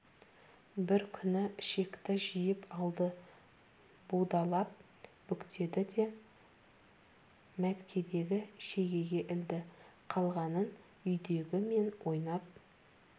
бір күні ішекті жиып алды будалап бүктеді де мәткедегі шегеге ілді қалғанын үйдегі мен ойнап